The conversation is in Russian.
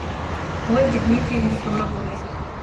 ольге дмитриевне тороповой